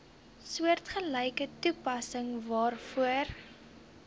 soortgelyke toepassing daarvoor